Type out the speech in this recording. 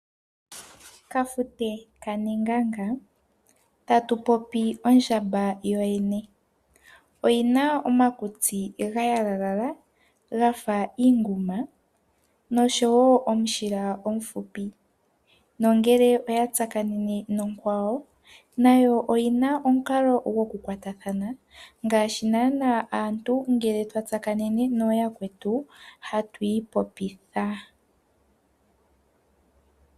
Ondjamba oyi na omakutsi ga yalalala ga fa iinguma nosho wo omushila omufupi, nongele oya tsakanene nonkwawo nayo oyi na omukalo gokukwatathana ngaashi naanaa aantu ngele twa tsakanene nooyakwetu hatu ipopitha.